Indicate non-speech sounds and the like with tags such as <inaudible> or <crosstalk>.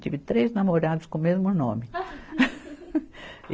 Tive três namorados com o mesmo nome. <laughs>